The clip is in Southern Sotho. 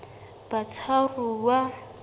batshwaruwa